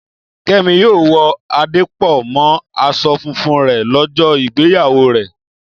Kẹ́mi yóò wọ adé pọ̀ mọ́ aṣọ funfun rẹ̀ lọ́jọ́ ìgbéyàwó rẹ̀